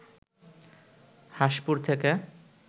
হাসঁপুর থেকে